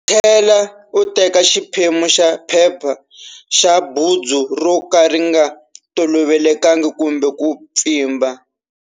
Tlhela u teka xiphemu xa phepha xa bundzu ro ka ri nga tolovelekangi kumbe ku pfimba.